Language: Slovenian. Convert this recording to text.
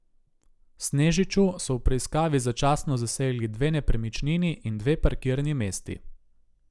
Snežiču so v preiskavi začasno zasegli dve nepremičnini in dve parkirni mesti.